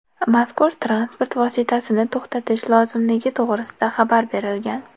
Mazkur transport vositasini to‘xtatish lozimligi to‘g‘risida xabar berilgan.